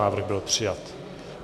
Návrh byl přijat.